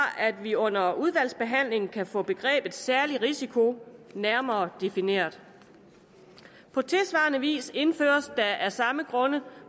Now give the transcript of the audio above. at vi under udvalgsbehandlingen kan få begrebet særlig risiko nærmere defineret på tilsvarende vis indføres der af samme grunde